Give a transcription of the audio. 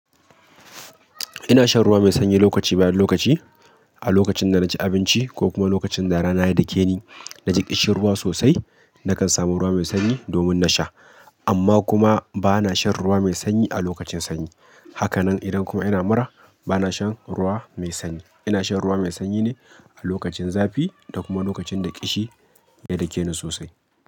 Ina shan ruwa mai sanyi lokaci bayan lokaci. A lokacin da na ci abinci ko kuma lokacin da rana ya dake ni na ji ƙishirwa sosai, nakan samu ruwa mai sanyi domin na sha. Amma kuma ba na shan ruwa mai sanyi a lokacin sanyi. Haka nan idan kuma ina mura, ba na shan ruwa mai sanyi. Ina shan ruwa mai sanyi ne a lokacin zafi da kuma lokacin da ƙishi ya dake ni sosai.